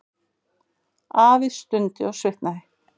Afi stundi og svitnaði.